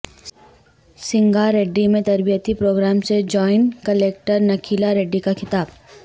سنگاریڈی میں تربیتی پروگرام سے جوائنٹ کلکٹر نکھیلاریڈی کا خطاب